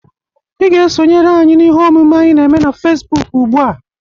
Ị ga-esonyere anyị n'ihe omume anyị n'eme na Fesbụk ugbụa!